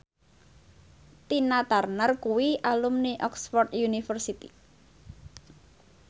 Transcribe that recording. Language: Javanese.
Tina Turner kuwi alumni Oxford university